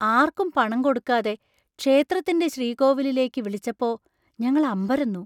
ആർക്കും പണം കൊടുക്കാതെ ക്ഷേത്രത്തിന്‍റെ ശ്രീകോവിലിലേക്ക് വിളിച്ചപ്പോ ഞങ്ങൾ അമ്പരന്നു.